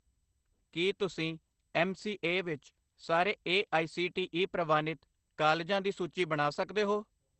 ਕੀ ਤੁਸੀਂ ਐਮ.ਸੀ.ਏ ਵਿੱਚ ਸਾਰੇ A I C T E ਪ੍ਰਵਾਨਿਤ ਕਾਲਜਾਂ ਦੀ ਸੂਚੀ ਬਣਾ ਸਕਦੇ ਹੋ